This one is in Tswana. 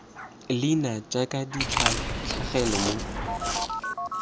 leina jaaka di tlhagelela mo